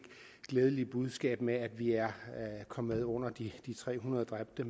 glædelige budskab frem med at vi er kommet under de tre hundrede dræbte